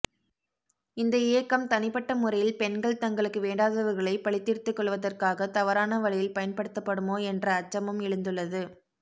இந்த இயக்கம் தனிப்பட்ட முறையில் பெண்கள் தங்களுக்கு வேண்டாதவர்களை பழித் தீர்த்துக்கொள்வதற்காக தவறான வழியில் பயன்படுத்தபடுமோ என்ற அச்சமும் எழுந்துள்ளது